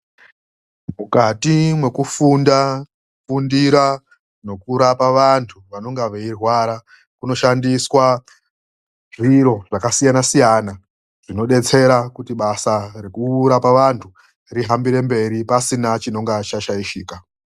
Mukati mwekufunda, kufundira nokurapa vantu vanonga veirwara. Kunoshandiswa zviro zvakasiyana siyana zvinodetsera kuti basa rekurapa vantu rihambire mberi pasina chinonga chashaishika.